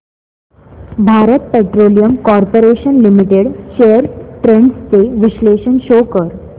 Bharat petroleum corporation limited shares trends चे विश्लेषण show कर